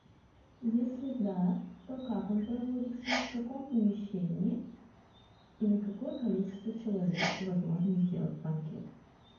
если да то как он проводится в каком помещении и на какое количество человек возможно сделать банкет